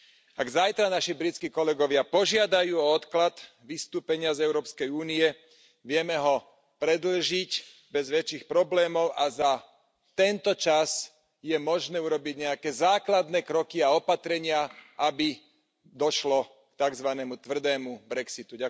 Ak zajtra naši britskí kolegovia požiadajú o odklad vystúpenia z Európskej únie, vieme ho predĺžiť bez väčších problémov a za tento čas je možné urobiť nejaké základné kroky a opatrenia, aby došlo k takzvanému tvrdému brexitu.